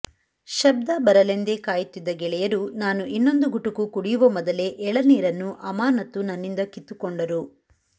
ಶಬ್ದ ಬರಲೆಂದೇ ಕಾಯುತ್ತಿದ್ದ ಗೆಳೆಯರು ನಾನು ಇನ್ನೊಂದು ಗುಟುಕು ಕುಡಿಯುವ ಮೊದಲೆ ಎಳನೀರನ್ನು ಅಮಾನತ್ತು ನನ್ನಿಂದ ಕಿತ್ತು ಕೊಂಡರು